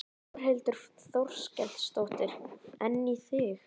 Þórhildur Þorkelsdóttir: En í þig?